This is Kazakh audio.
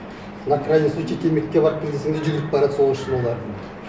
на крайний случай темекіге барып кел десең де жүгіріп барады сол үшін олар